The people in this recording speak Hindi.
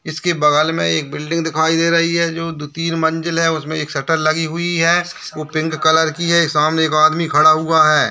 इसके बगल में एक बिल्डिंग दिखाई दे रही है जो दो-तीन मंजिल है उसमे एक शटर लगी हुई है वो पिंक कलर की है सामने एक आदमी खड़ा हुआ है।